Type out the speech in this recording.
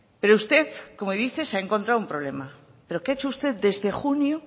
pero usted como dice se ha encontrado un problema pero qué ha hecho usted desde junio